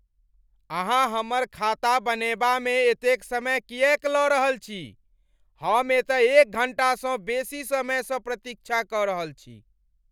अहाँ हमर खाता बनएबामे एतेक समय किएक लऽ रहल छी? हम एतऽ एक घण्टासँ बेसी समयसँ प्रतीक्षा कऽ रहल छी!